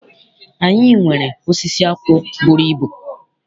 Anyị nwere osisi akwụ bụrụ ibu.